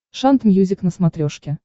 шант мьюзик на смотрешке